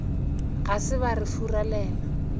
ga se ba re furalela